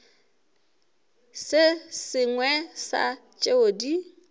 se sengwe sa tšeo di